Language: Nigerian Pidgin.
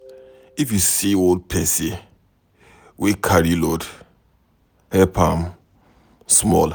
If you see old pesin wey carry load, help am small.